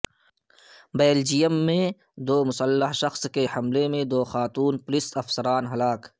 Belgium میں مسلح شخص کے حملے میں دو خاتون پولیس افسران ہلاک